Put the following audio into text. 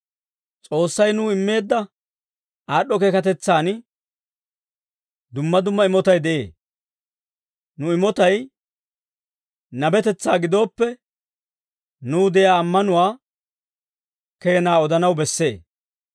S'oossay nuw immeedda aad'd'o keekatetsaan dumma dumma imotay de'ee. Nu imotay nabetetsaa gidooppe, nuw de'iyaa ammanuwaa keenaa odanaw bessee.